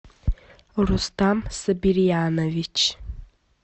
рустам сабирьянович